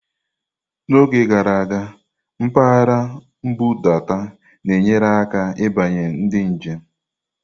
N'oge gara aga, mpaghara nbudata na-enyere aka ịbanye ndị njem.